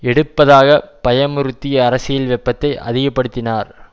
எடுப்பதாகப் பயமுறுத்தி அரசியல் வெப்பத்தை அதிகப்படுத்தினார்